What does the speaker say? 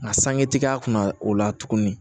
Nka sangetigi a kunna o la tuguni